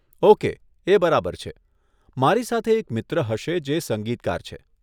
Okay, એ બરાબર છે, મારી સાથે એક મિત્ર હશે જે સંગીતકાર છે.